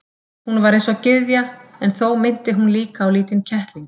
Hún var eins og gyðja en þó minnti hún líka á lítinn kettling.